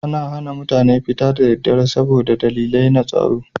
Ana hana mutane fita da daddare saboda dalilai na tsaro.